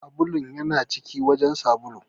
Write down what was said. Sabulun ya na cikin wajen sabulu.